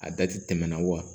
A dati tɛmɛna wa